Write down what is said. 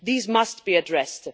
These must be addressed.